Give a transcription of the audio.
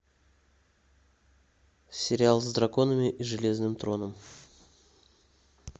сериал с драконами и железным троном